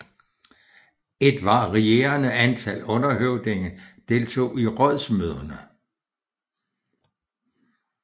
Et varierende antal underhøvdinge deltog i rådsmøderne